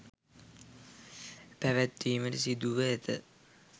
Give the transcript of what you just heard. පැවැත්වීමට සිදුව ඇත